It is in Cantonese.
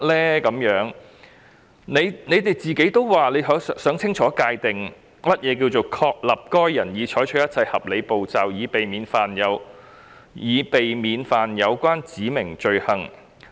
當局也表示他們想清楚界定如何確立該人已採取一切合理步驟，以避免干犯指明罪行。